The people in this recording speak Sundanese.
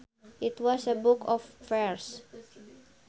It was a book of verse